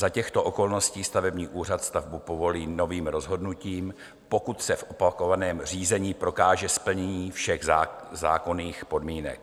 Za těchto okolností stavební úřad stavbu povolí novým rozhodnutím, pokud se v opakovaném řízení prokáže splnění všech zákonných podmínek.